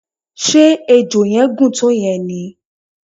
ṣe ejò yẹn gùn tó yen ni?